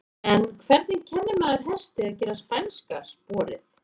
En hvernig kennir maður hesti að gera spænska sporið?